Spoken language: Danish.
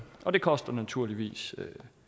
og det koster naturligvis